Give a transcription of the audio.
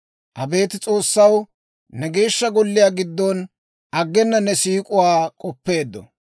Abeet S'oossaw, ne Geeshsha Golliyaa giddon aggena ne siik'uwaa k'oppeeddo.